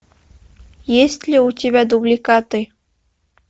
есть ли у тебя дубликаты